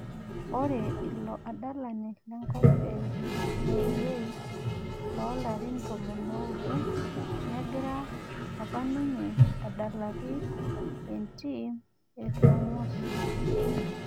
Ore ilo adalani lenkop e noruwei loo larin tomon oudo negira apaninye adalaki entim e Tromso